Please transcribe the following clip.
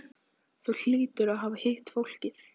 Þú hlýtur að hafa hitt fólkið.